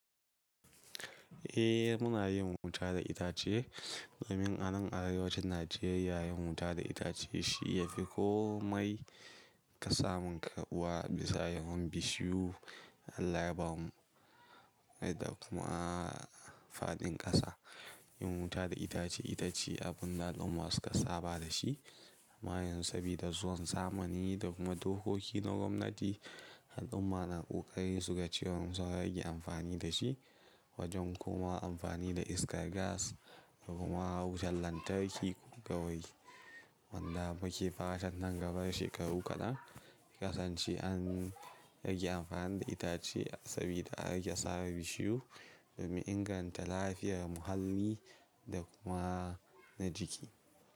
Eh, muna yin wuta da itace. Domin anan arewacin Najeriya yin wuta da itace shi yafi komai kasamun karɓuwa bisa yawan bishiyu da Allah yabamu da kuma faɗin ƙasa. Yin wuta da itace itace abinda al'umma suka saba da shi. Amma yanzu sabida zuwan zamani da kuma dokoki na gwamnati al'ummar na ƙoƙari su ga cewa sun rage amfani da shi wajen komawa amfani da iskar gas da kuma wutan lantarki kawai. Wanda muke fatan nan gaba shekaru kaɗan. Kasance an rage amfani da itace sabida a rage sare bishiyu domin inganta lafiyar muhalli da kuma na jiki.